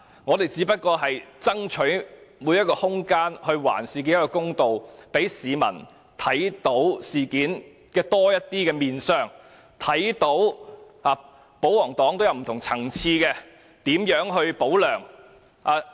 我們只是爭取空間，還事件一個公道，讓市民看到事件更多面相，看到保皇黨在不同層次上"保梁"。